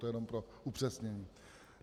To jenom pro upřesnění.